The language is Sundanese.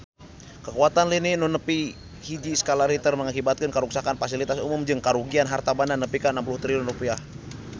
Kakuatan lini nu nepi hiji skala Richter ngakibatkeun karuksakan pasilitas umum jeung karugian harta banda nepi ka 60 triliun rupiah